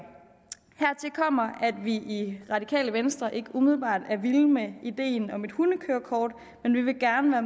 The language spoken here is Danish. hertil kommer at vi i radikale venstre ikke umiddelbart er vilde med ideen om et hundekørekort men vi vil gerne være